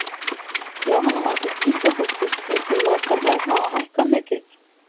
Jóhanna Margrét Gísladóttir: Finnst þér matarverð hafa hækkað mikið?